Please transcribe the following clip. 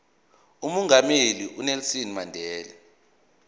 umongameli unelson mandela